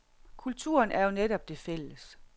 Kulturen er jo netop det fælles.